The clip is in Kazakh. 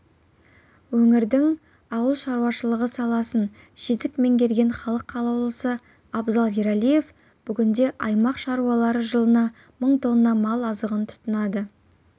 өңірдің ауыл шаруашылығы саласын жетік меңгерген халық қалаулысы абзал ералиев бүгінде аймақ шаруалары жылына мың тонна мал азығын тұтынады